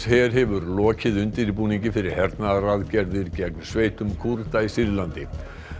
hefur lokið undirbúningi fyrir hernaðaraðgerð gegn sveitum Kúrda í Sýrlandi